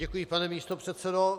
Děkuji, pane místopředsedo.